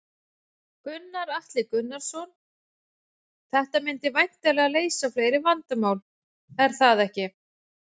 Gunnar Atli Gunnarsson: Þetta myndi væntanlega leysa fleiri vandamál, er það ekki?